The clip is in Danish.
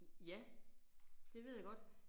Ja det ved jeg godt